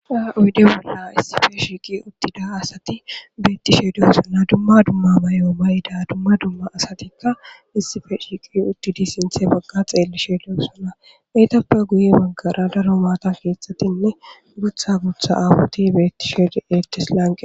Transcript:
uyde bolla issife shiiqi uttida asati bettishe deyo sona dumma dumma bayo bayda dumma dumma asatikka issife shiiqi uttidi sinthe bagga xeellishedeo sona eytappe guye maggara daro baata keexxatinne gutha gutha aabuti bettisheedi ettis lanqe